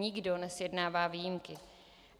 Nikdo nesjednává výjimky.